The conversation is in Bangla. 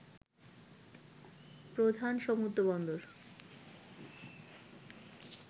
প্রধান সমুদ্র বন্দর